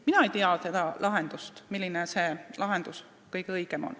Mina ei tea, milline lahendus on kõige õigem.